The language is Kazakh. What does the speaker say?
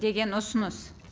деген ұсыныс